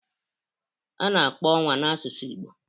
A na-akpọ Ọnwa 'na' n'asụsụ Igbo: